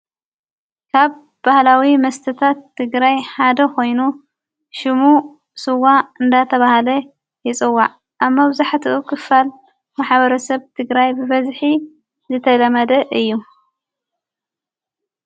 ካብ ባህላዊ መስተታት ትግራይ ሓደ ኾይኑ ሹሙ ሥዋ እንዳተብሃለ የፅዋዕ ኣብ ኣብዛሕትኡ ክፋል ማሓበረ ሰብ ትግራይ ብፈዝኂ ዘተለመደ እዩ::